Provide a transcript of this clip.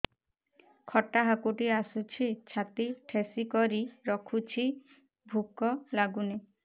ଖଟା ହାକୁଟି ଆସୁଛି ଛାତି ଠେସିକରି ରଖୁଛି ଭୁକ ଲାଗୁନି